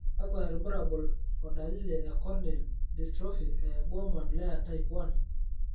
kakwa irbulabol o dalili e Corneal dystrophy e Bowman layer type 1?